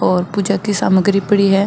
और पूजा की समाग्री पड़ी है।